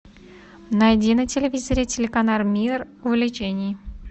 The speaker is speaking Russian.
найди на телевизоре телеканал мир увлечений